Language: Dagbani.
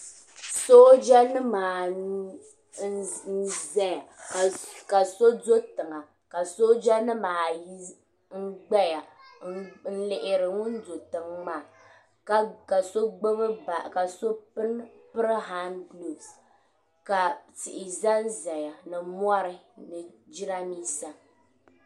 Soojanima anu n-zaya ka so do tiŋa ka soojanima ayi gbaya lihiri ŋun do tiŋa maa ka so piri han guloofu ka tihi zanzaya ni mɔri ni jidambiisa.